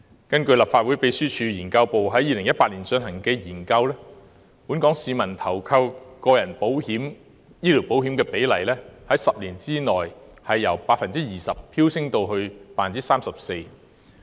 根據立法會秘書處資料研究組在2018年進行的研究，本港市民投購個人醫療保險的比率在10年間由 20% 飆升至 34%。